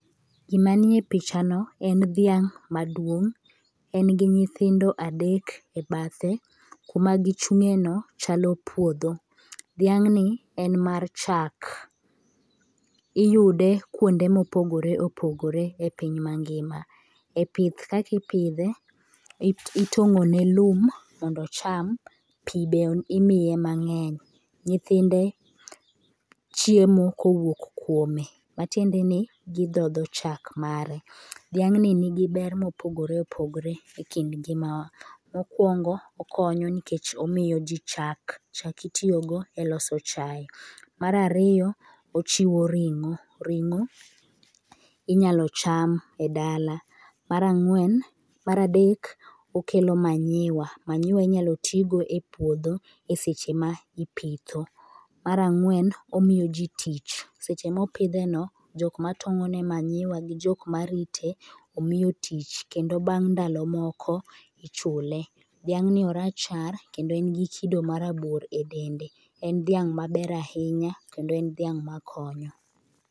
Gima nie pichano en dhiang maduong', en gi nyithindo adek ebathe, kuma gi chungeno chalo puodho. Dhiang'ni en mar chak, iyude kuonde mopogore opogore e piny ngima. Eptih kaka ipidhe, itong'o ne lum mondo ocham, pii bende imiye mangey. Nyithinde chiemo kowuok kuome, tiende ni gi dhodho chak mare . Dhiang ni nigi ber mopogore opogore e kit ngima wa, mokwongo okonyo nikech omiyo ji chak, chak itiyo go e loso chae, mar ariyo ochiwo ringo, ringo inyalo cham e dala, nar adek okelo manure, manure inyalo ti godo e puotho e seche ma ipitho, mar ang'wen omiyo ji tich, seche mopidheno jok ma tong'o ne manure gi jok marite omiyo tich kendo bang dalo moko ichule. Dhiang' ni o rachar kendo en gi kido moko e dende, en dhiang' maber ahinya kendo en dhiang makonyo.